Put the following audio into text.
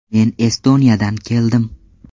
Men Estoniyadan keldim.